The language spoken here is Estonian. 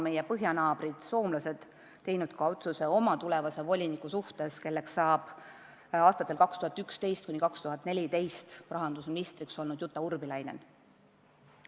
Meie põhjanaabrid soomlased on valinud oma tulevase voliniku, kelleks saab aastatel 2011–2014 rahandusminister olnud Jutta Urpilainen.